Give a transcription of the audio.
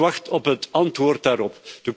Ik wacht op het antwoord daarop.